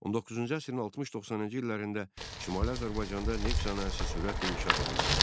19-cu əsrin 60-90-cı illərində Şimali Azərbaycanda neft sənayesi sürətlə inkişaf edirdi.